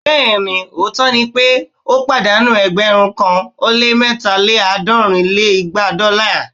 Bẹẹni! òótọ́ ni pé ó pàdánù ẹgbẹ̀rún kan ó lé mẹ́ta lé àádọ́rin lé igba dọ́là